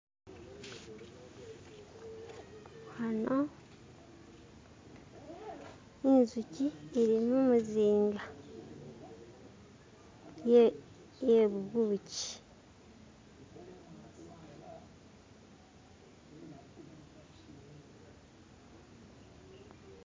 Ano inzuchi ili mumuzinga yebubushi.